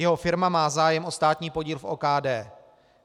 Jeho firma má zájem o státní podíl v OKD.